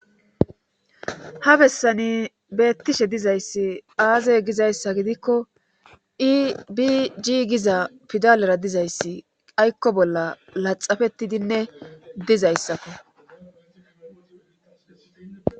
Ha bessani beettishe dizayssi aazey gizayssa gidikko iibi jigiza pidalera dizayssi aykko bolla laxafettidinne dizayssakko.